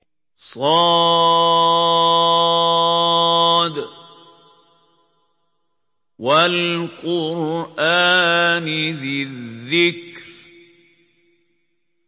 ص ۚ وَالْقُرْآنِ ذِي الذِّكْرِ